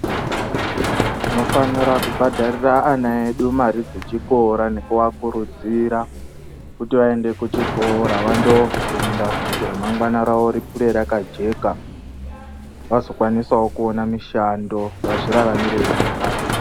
Tinofanira kubhadharira ana edu mare dzechikora nekuakurudzira kuti aende kuchikora vanofunda kuti ramangwana rawo ribude rakajeka vazokwanisawo kuona mishando vazviraramire vega.